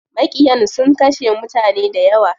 Maƙiyan sun kashe mutane dayawa.